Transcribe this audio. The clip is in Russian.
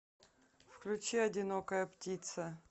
включи одинокая птица